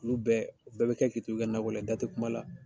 olu bɛɛ o bɛɛ bi kɛ ki to i ka nakɔla da tɛ kuma la